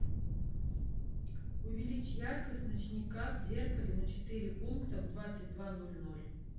увеличь яркость ночника в зеркале на четыре пункта в двадцать два ноль ноль